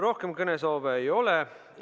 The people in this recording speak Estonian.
Rohkem kõnesoove ei ole.